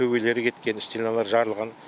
төбе төбелері кеткен стеналары жарылған